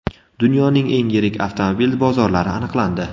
Dunyoning eng yirik avtomobil bozorlari aniqlandi.